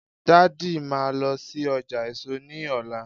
daddy ma lo sí ọjà èso ní ọlá